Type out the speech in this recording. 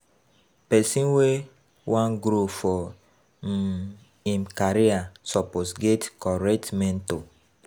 Pesin wey wan grow for um him career suppose get correct mentor.